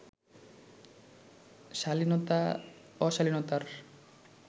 শালীনতা অশালীনতার